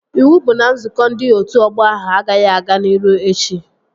Iwu bụ na nzukọ ndị otu ọgbọ ahụ agaghị aga n'iru echi!